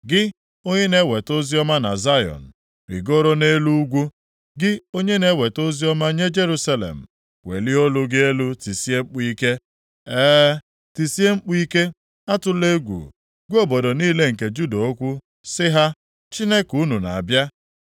Gị onye na-eweta oziọma nye Zayọn, rigoro nʼelu ugwu; gị onye na-eweta oziọma nye Jerusalem, welie olu gị elu tisie mkpu ike; e, tisie mkpu ike, atụla egwu. Gwa obodo niile nke Juda okwu sị ha: “Chineke unu na-abịa.”